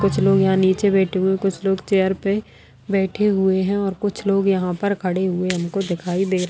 कुछ लोग यहाँ नीचे बैठे हुए हैं कुछ लोग चेयर पे बैठे हुए हैं और कुछ लोग यहाँ पर खड़े हुए हमको दिखाई दे र --